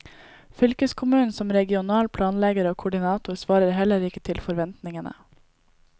Fylkeskommunen som regional planlegger og koordinator svarer heller ikke til forventningene.